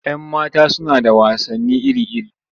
Yan mata suna da wasanni iri-iri.